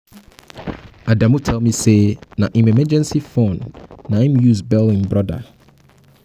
adamu tell me say na im emergency fund he use bail im brother